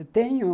Eu tenho